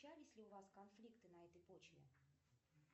случались ли у вас конфликты на этой почве